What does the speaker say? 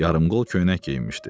Yarımqol köynək geyinmişdi.